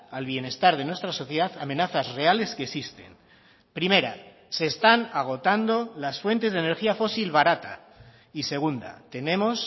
al bienestar de nuestra sociedad amenazas reales que existen primera se están agotando las fuentes de energía fósil barata y segunda tenemos